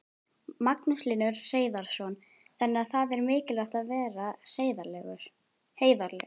Magnús Hlynur Hreiðarsson: Þannig það er mikilvægt að vera heiðarlegur?